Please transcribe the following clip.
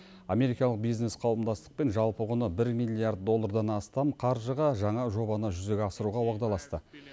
америкалық бизнес қауымдастықпен жалпы құны бір миллиард доллардан астам қаржыға жаңа жобаны жүзеге асыруға уағдаласты